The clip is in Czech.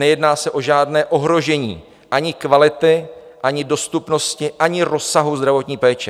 Nejedná se o žádné ohrožení ani kvality, ani dostupnosti, ani rozsahu zdravotní péče.